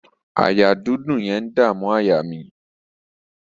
Àyà dídùn yẹn ń dàmú àyà mi.